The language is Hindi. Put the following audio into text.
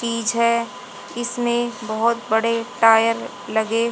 पीछे इसमें बहोत बड़े टायर लगे--